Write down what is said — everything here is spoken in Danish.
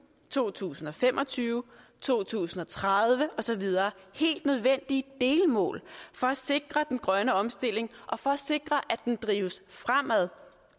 to tusind og fem og tyve to tusind og tredive og så videre helt nødvendige delmål for at sikre den grønne omstilling og for at sikre at den drives fremad